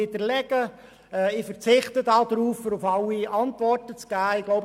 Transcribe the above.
Doch ich verzichte darauf, auf alles, was gesagt worden ist, eine Antwort zu geben.